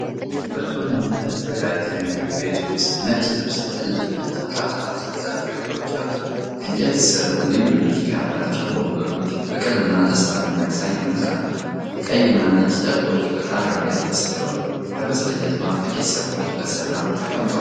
በጥሩ ሁኔታ የተዘጋጀ ምግብ ቤት ውስጥ ነጭ ልብስ የተነጠፈባቸው አራት ማዕዘን ጠረጴዛዎች አሉ። ከእንጨት የተሠሩ ልዩ ንድፍ ያላቸው ወንበሮች ፍቅርንና ደስታን የሚያሳይ መልክ አላቸው። ቀይና ነጭ ጨርቆች በጣሪያው ላይ ተሰቅለዋል። ከበስተኋላው ጥቂት ሰዎች በሰላም ተቀምጠዋል።